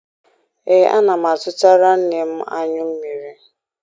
Ee, ana m azụtara nne m anyụ mmiri.